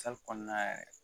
Sali kɔnɔna yɛrɛ